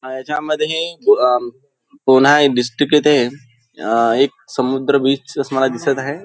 अ याच्या मधे अ पुन्हा हे डिस्ट्रिक्ट येथे अ एक समुद्र बीच असं मला दिसत आहे.